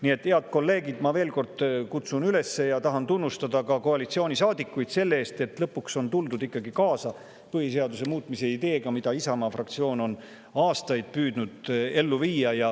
Nii et, head kolleegid, ma veel kord tahan koalitsioonisaadikuid tunnustada ka selle eest, et lõpuks on ikkagi tuldud kaasa põhiseaduse muutmise ideega, mida Isamaa fraktsioon on aastaid püüdnud ellu viia.